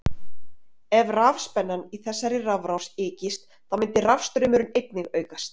Ef rafspennan í þessari rafrás ykist þá myndi rafstraumurinn einnig aukast.